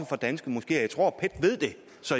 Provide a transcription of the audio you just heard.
fra danske moskeer jeg tror